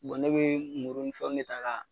ne bɛ muru ni fɛnw de ta ka